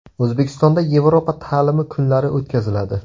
O‘zbekistonda Yevropa ta’limi kunlari o‘tkaziladi.